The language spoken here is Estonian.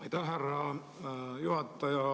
Aitäh, härra juhataja!